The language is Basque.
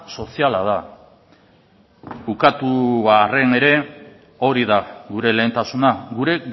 soziala da ukatu arren ere hori da gure lehentasuna gure